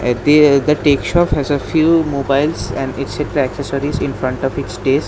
Appear the tech shop has a few mobiles and etc. accessories in front of its desk.